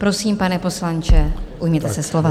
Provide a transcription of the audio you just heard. Prosím, pane poslanče, ujměte se slova.